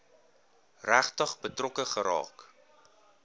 regtig betrokke geraak